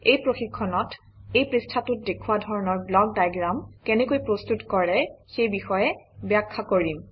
এই প্ৰশিক্ষণত এই পৃষ্ঠাটোত দেওুওৱা ধৰণৰ ব্লক ডায়েগ্ৰাম কেনেকৈ প্ৰস্তুত কৰে সেই বিষয়ে ব্যাখ্যা কৰিম